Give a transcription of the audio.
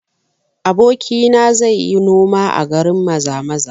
Abokina ya ce zai yi noma a garin Maza-maza